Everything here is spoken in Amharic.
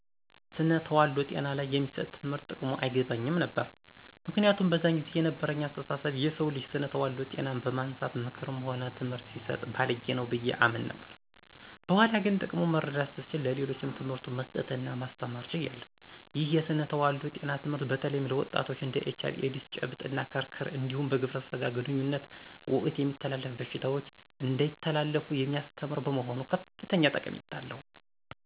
ስነ ተዋልዶ ጤና ላይ የሚሰጥ ትምህርት ጥቅሙ አይገባኝም ነበር። ምክንያቱም በዛን ጊዜ የነበረኝ አስተሳሰብ የሰው ልጅ ስነ ተዋልዶ ጤናን በማንሳት ምክርም ሆነ ትምህርት ሲሰጥ ባልጌ ነው ብዬ አምን ነበር። በኋላ ግን ጥቅሙ መረዳት ስችል ለሌሎችም ትምህርቱን መስጠት እና ማስተማር ችያለሁ። ይህ የስነ ተዋልዶ ጤና ትምህርት በተለይም ለወጣቶች እንድ ኤች አይ ቪ ኤዲስ፤ ጨብጥ እና ክርክር እንዲሁም በግብረ ስጋ ግንኙነት ወቅት የሚተላለፉ በሽታዎች እንዳይተላለፉ የሚያስተምር በመሆኑ ከፍተኛ ጠቀሜታ አለው።